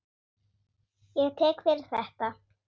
Ég tek ekki fyrir þetta.